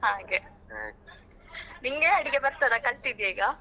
ಹಾಗೆ ನಿಂಗೆ ಅಡಿಗೆ ಬರ್ತದ ಕಲ್ತಿದ್ಯಾ ಈಗ.